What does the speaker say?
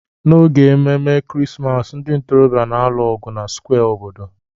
n'oge ememe Krismas, ndị ntorobịa na-alụ ọgụ na square obodo